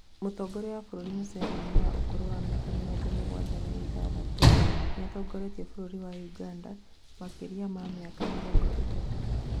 Mũtongoria wa bũrũri Museveni wa ũkũrũ wa mĩaka mĩrongo mũgwanja na ithathatũ, nĩatongoretie bũrũri wa Ũganda makĩria ya mĩaka mĩrongo ĩtatũ